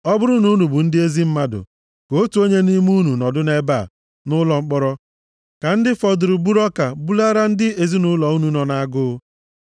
Ọ bụrụ na unu bụ ndị ezi mmadụ, ka otu onye nʼime unu nọdụ nʼebe a, nʼụlọ mkpọrọ, ka ndị fọdụrụ buru ọka bulaara ndị ezinaụlọ unu nọ nʼagụụ.